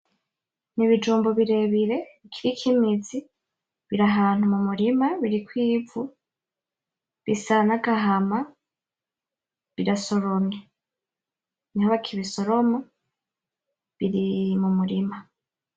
N’ibijumbu birebire biriko imizi biri ahantu mumurima , biriko ivu bisa n'agahama, birasoromye , niho bakibisoroma biri mumurima .